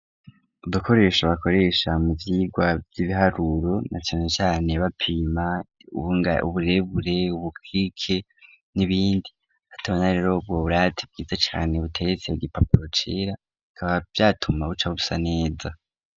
Udukoresho bakoresha mu vyirwa vy'ibiharuro na cane cane bapima uburebure ubukike n'ibindi aho tubana rero ubwo burate bwiza cane buteretse ku gipapuro cera bikaba vyatuma buca busa neza.